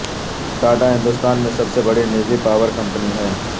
ٹاٹا ہندوستان میں سب سے بڑی نجی پاور کمپنی ہے